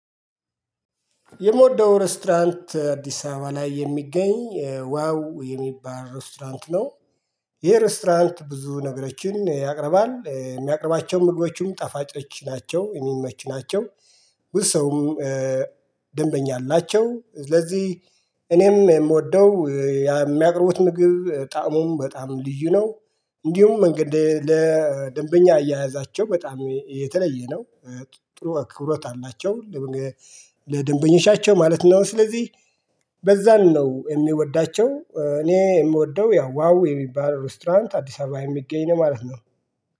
የምወደው ሬስቶራንት አዲስ አበባ ላይ የሚገኝ ዋው የሚባል ሬስቶራንት ነው። ይሄ ሬስቶራንት ብዙ ነገሮችን ያቀርባል የሚያቀርባቸው ምግቦችም ጣፋጮች ናቸው የሚመች ናቸው። ብዙ ሰውም ደንበኛ አላቸው። ስለዚህ እኔም የምወደው የሚያቅርቡት ምግብ ጣእሙም በጣም ልዩ ነው። እንዲሁም እንግዲህ ለደንበኛ አያያዛቸው በጣም የተለየ ነው። ጥሩ አክብሮት አላቸው ለደንበኞቻቸው ማለት ነው። ስለዚህ በዛን ነው የሚወዳቸው። እኔ የምወደው ያው ዋው የሚባል ሬስቶራንት አዲስ አበባ የሚገኝ ነው ማለት ነው